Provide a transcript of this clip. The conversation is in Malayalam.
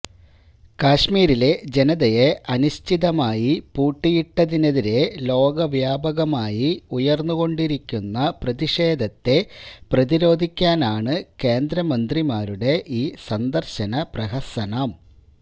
കശ്മിരിലെ ജനതയെ അനിശ്ചിതമായി പൂട്ടിയിട്ടതിനെതിരേ ലോകവ്യാപകമായി ഉയര്ന്നുകൊണ്ടിരിക്കുന്ന പ്രതിഷേധത്തെ പ്രതിരോധിക്കാനാണ് കേന്ദ്രമന്ത്രിമാരുടെ ഈ സന്ദര്ശന പ്രഹസനം